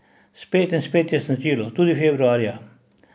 Spet in spet je snežilo, tudi februarja.